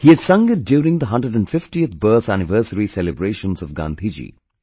He had sung it during the 150th birth anniversary celebrations of Gandhiji